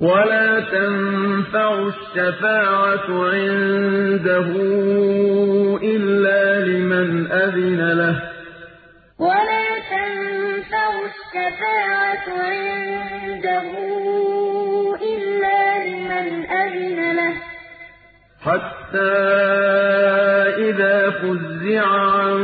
وَلَا تَنفَعُ الشَّفَاعَةُ عِندَهُ إِلَّا لِمَنْ أَذِنَ لَهُ ۚ حَتَّىٰ إِذَا فُزِّعَ عَن